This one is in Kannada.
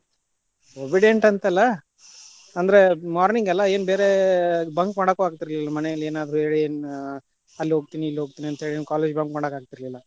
Obedient ಅಂತಲ್ಲಾ, ಅಂದ್ರ morning ಅಲ್ಲಾ ಏನ್ ಬೇರೆ bunk ಮಾಡಾಕೂ ಆಗ್ತಿರ್ಲಿಲ್ಲಾ ಮನೇಲಿ ಏನಾದ್ರು ಹೇಳಿ ಅಲ್ಲಿ ಹೋಗ್ತಿನಿ ಇಲ್ಲಿ ಹೋಗ್ತಿನಿ ಅಂತ ಹೇಳಿ college bunk ಮಾಡಕ್ಕಾಗ್ತಿರ್ಲಿಲ್ಲಾ.